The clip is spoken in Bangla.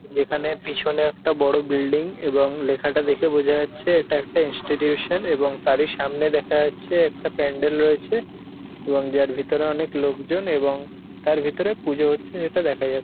যেখানে পিছনে একটা বড় বিল্ডিং এবং লেখাটা দেখে বোঝা যাচ্ছে এটা একটা ইনস্টিটিউশন এবং তারই সামনে দেখা যাচ্ছে একটা প্যান্ডেল রয়েছে এবং যার ভিতরে অনেক লোকজন এবং তার ভিতরে পুজো হচ্ছে সেটা দেখা যা--